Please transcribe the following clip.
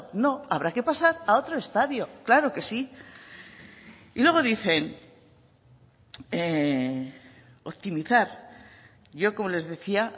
no habrá que pasar a otro estadio claro que sí y luego dicen optimizar yo como les decía